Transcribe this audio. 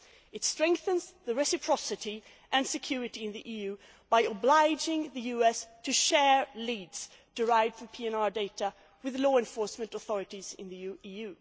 It strengthens reciprocity and security on the EU side by obliging the US to share leads derived from PNR data with the law enforcement authorities in the EU.